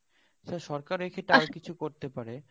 আচ্ছা সরকার এক্ষেত্রে আর কিছু করতে পারে